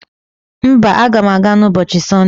Mba, aga m aga n'ubochi Sonde.